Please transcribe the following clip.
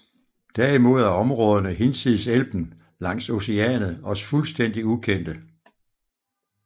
Derimod er områderne hinsides Elben langs Oceanet os fuldstændig ukendte